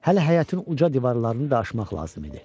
Hələ həyətin uca divarlarını da aşmaq lazım idi.